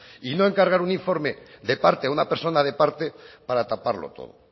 y no encargar un informe de parte a una persona de parte para taparlo todo